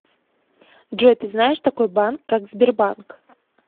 джой ты знаешь такой банк как сбербанк